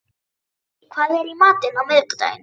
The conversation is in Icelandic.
Lúðvík, hvað er í matinn á miðvikudaginn?